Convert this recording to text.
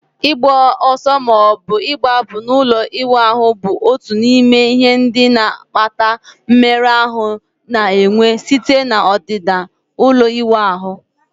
Ịgba ọsọ ma ọ bụ gbapụ n'ụlọ ịwụ ahụ bụ otu n'ime ihe ndị na-akpata mmerụ ahụ na-enwe site na ọdịda ụlọ ịwụ ahụ